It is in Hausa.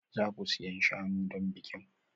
Za ku siyan shanu don bikin?